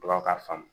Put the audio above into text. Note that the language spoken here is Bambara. Baw k'a faamu